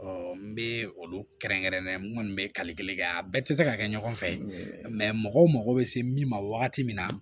n bɛ olu kɛrɛnkɛrɛnnen nu bɛ kali kelen kɛ yan a bɛɛ tɛ se ka kɛ ɲɔgɔn fɛ mɔgɔw mago bɛ se min ma wagati min na